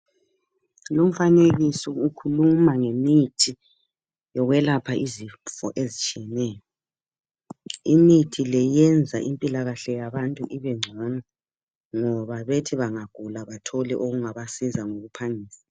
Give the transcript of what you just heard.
Lumfanekiso ukhuluma ngemithi yokwelapha izifo ezitshiyeneyo imithi le yenza impiakahle yabantu ibegcono , ngoba bethi bengagula bathole okungabazisa ngokuphangisa.